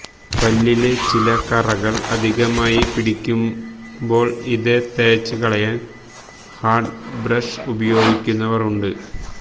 പല്ലില് ചില കറകള് അധികമായി പിടിക്കുന്പോള് ഇത് തേച്ച് കളയാന് ഹാര്ഡ് ബ്രഷ് ഉപയോഗിക്കുന്നവര് ഉണ്ട്